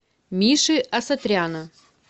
миши асатряна